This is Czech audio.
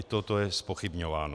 I toto je zpochybňováno.